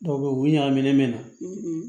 Dɔw bɛ yen u bɛ ɲagaminen mɛna